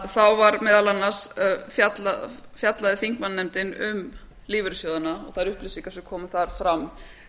þá fjallaði þingmannanefndin um lífeyrissjóðina og þær upplýsingar sem komu þar fram